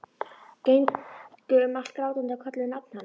Gengju um allt grátandi og kölluðu nafnið hans.